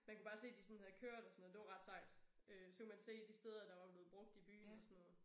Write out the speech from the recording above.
Man kunne bare se de sådan havde kørt og sådan noget det var ret sejt. Øh så kunne man se de steder der var blevet brugt i byen og sådan noget